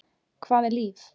Hvað er líf?